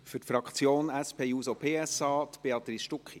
Für die Fraktion der SP-JUSO-PSA, Béatrice Stucki.